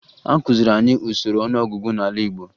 Akụziri anyị usoro ọnụọgụgụ n'ala Igbo